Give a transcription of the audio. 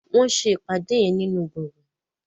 wón ṣe ìpàdé yén nínú gboôgan.